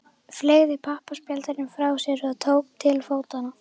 Fleygði pappaspjaldinu frá sér og tók til fótanna.